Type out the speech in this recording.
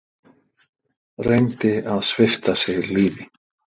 Reyndi að svipta sig lífi